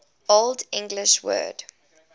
old english word